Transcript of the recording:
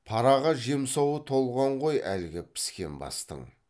параға жемсауы толған ғой әлгі піскен бастың